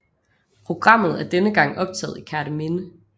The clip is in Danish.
Programmet er denne gang optaget i Kerteminde